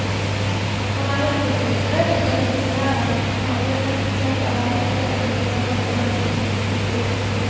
Han er en ordkunstner og rimsmed av rang, men aller mest kjent er han for sin evne til å lodde menneskesinnets dybder.